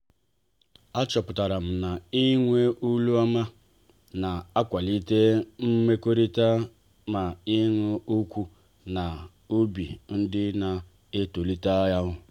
a chọpụtara m na-ịnwe olu ọma na-akwalite mmekọrịta na ịṅụ ọkụ na obi dị na ntọala otú.